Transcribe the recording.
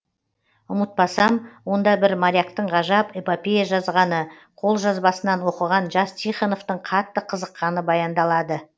ұмытпасам онда бір моряктың ғажап эпопея жазғаны қолжазбасынан оқыған жас тихоновтың қатты қызыққаны баяндалады